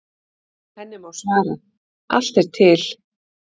Henni má svara: Allt er til.